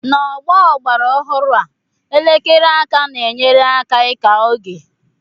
n'ọgbọ ọgbara ọhụrụ a, elekere aka na-enyere aka ịka oge